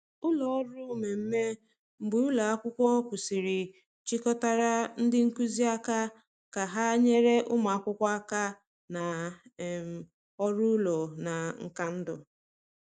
Ụlọ ọrụ mmemme mgbe ụlọ akwụkwọ kwụsịrị chịkọtara ndị nkuzi aka ka ha nyere ụmụ akwụkwọ aka na um ọrụ ụlọ na nka ndụ.